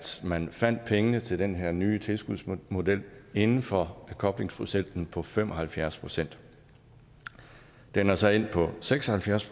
man fandt pengene til den her nye tilskudsmodel inden for koblingsprocenten på fem og halvfjerds procent den er så endt på seks og halvfjerds